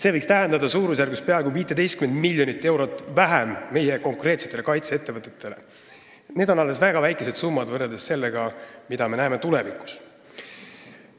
See võib tähendada suurusjärgus peaaegu 15 miljonit eurot vähem raha meie konkreetsetele kaitseettevõtetele ja see on alles väga väike summa võrreldes sellega, mida me näeme tulevikus.